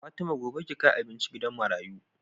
Fatima gobe ki kai abinci gidan marayu